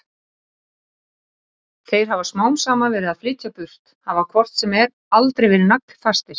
Þeir hafi smám saman verið að flytja burtu, hafi hvort sem er aldrei verið naglfastir.